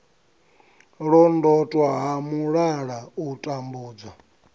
londotwa ha mulala u tambudzwa